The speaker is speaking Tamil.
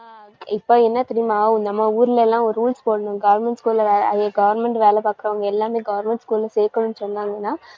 இப்ப என்ன தெரியுமா ஆவும் நம்ம ஊர்ல எல்லாம் ஒரு rules போடணும் government school ல வே~ government வேலை பாக்கறவங்க எல்லாமே government school ல சேர்க்கணும்னு சொன்னாங்கன்னா